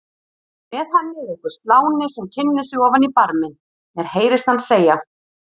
Með henni er einhver sláni sem kynnir sig ofan í barminn, mér heyrist hann segja